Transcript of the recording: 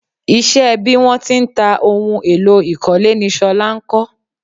Isẹ́ bí wọ́n ti ń ta ohun èlò ìkọ́lé ni ṣọlá ń kọ́